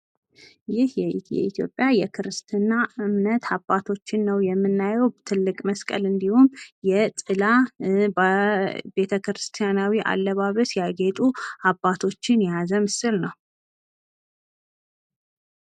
ይህ የክርስትና እምነት አባቶችን ነው የምናዬው። ትልቅ መስቀል ጥላ በቤተክርስቲያናዊ አለባበስ ያጌጡ አባቶች የያዘ ምስል ነው።